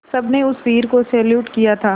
सबने उस वीर को सैल्यूट किया था